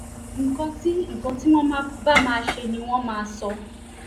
nǹkan tí nǹkan tí wọ́n bá máa ṣe ni wọ́n máa sọ